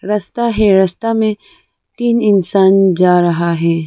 रस्ता है रस्ता में तीन इंसान जा रहा है।